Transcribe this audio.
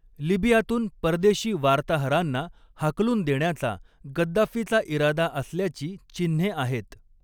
लिबियातून परदेशी वार्ताहरांना हाकलून देण्याचा गद्दाफीचा इरादा असल्याची चिन्हे आहेत.